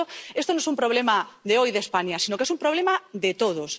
Por lo tanto, esto no es un problema de hoy, de España, sino que es un problema de todos.